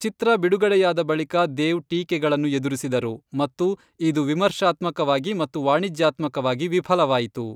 ಚಿತ್ರ ಬಿಡುಗಡೆಯಾದ ಬಳಿಕ ದೇವ್ ಟೀಕೆಗಳನ್ನು ಎದುರಿಸಿದರು, ಮತ್ತು ಇದು ವಿಮರ್ಶಾತ್ಮಕವಾಗಿ ಮತ್ತು ವಾಣಿಜ್ಯಾತ್ಮಕವಾಗಿ ವಿಫಲವಾಯಿತು.